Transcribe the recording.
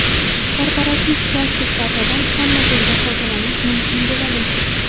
Korporativ plastik kartadan hamma joyda foydalanish mumkin bo‘ladi.